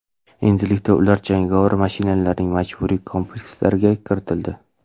Endilikda ular jangovar mashinalarning majburiy komplektatsiyasiga kiritildi.